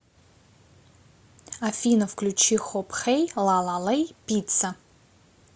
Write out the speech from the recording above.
афина включи хоп хэй лала лэй пицца